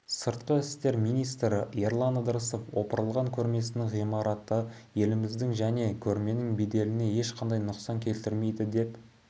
сыртқы істер министрі ерлан ыдырысов опырылған көрмесінің ғимараты еліміздің және көрменің беделіне ешқандай нұқсан келтірмейді деп